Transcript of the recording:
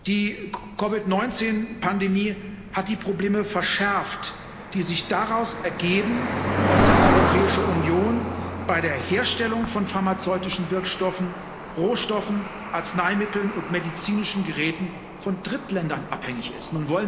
Die COVID 19 Pandemie hat die Probleme verschärft, die sich daraus ergeben, dass die Europäische Union bei der Herstellung von pharmazeutischen Wirkstoffen, Rohstoffen, Arzneimitteln und medizinischen Geräten von Drittländern abhängig ist.